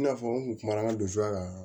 I n'a fɔ n kun kuma na nson jaka